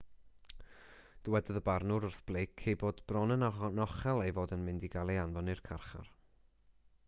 dywedodd y barnwr wrth blake ei bod bron yn anochel ei fod yn mynd i gael ei anfon i'r carchar